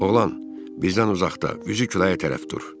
Oğlan, bizdən uzaqda, üzü küləyə tərəf dur.